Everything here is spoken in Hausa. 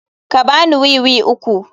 Ka ba ni wiwi uku.